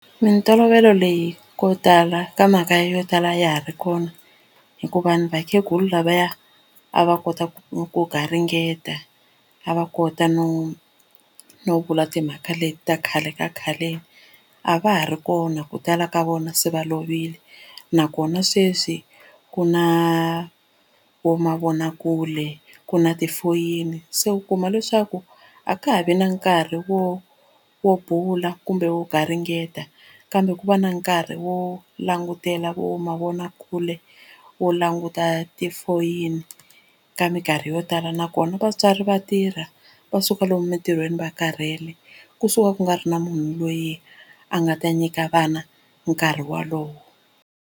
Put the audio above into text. Mintolovelo leyi ko tala ka mhaka yo tala a ya ha ri kona hikuva ni vakhegula lavaya a va kota ku ku garingeta a va kota no no vula timhaka leti ta khale ka khaleni a va ha ri kona ku tala ka vona se va lovile nakona sweswi ku na vo mavonakule ku na tifoyini se u kuma leswaku a ka ha vi na nkarhi wo wo bula kumbe wo garingeta kambe ku va na nkarhi wo langutela vo mavonakule wo languta tifoyini ka minkarhi yo tala nakona vatswari va tirha va suka lomu emitirhweni va karhele kusuka ku nga ri na munhu loyi a nga ta nyika vana nkarhi wolowo.